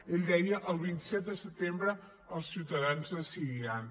ell deia el vint set de setembre els ciutadans decidiran